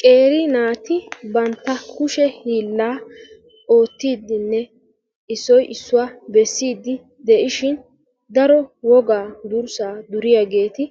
Qeeri naati bantta kushe hiillaa oottiiddinne issoy issuwa bessiiddi de'ishin daro wogaa dursaa duriyaageeti